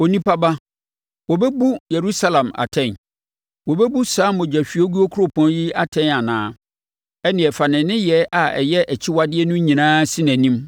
“Onipa ba, wobɛbu Yerusalem atɛn? Wobɛbu saa mogyahwiegu kuropɔn yi atɛn anaa? Ɛnneɛ fa ne nneyɛɛ a ɛyɛ akyiwadeɛ no nyinaa si nʼanim